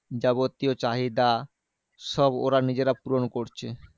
যাবতীয় চাহিদা, সব ওরা নিজেরা পূরণ করছে।